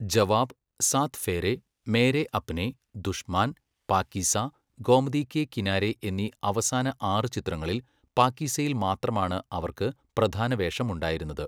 ജവാബ്, സാത് ഫേരേ, മേരേ അപ്നേ, ദുഷ്മാൻ, പാകീസ, ഗോമതി കെ കിനാരെ എന്നീ അവസാന ആറ് ചിത്രങ്ങളിൽ പാകീസയിൽ മാത്രമാണ് അവർക്ക് പ്രധാന വേഷം ഉണ്ടായിരുന്നത്.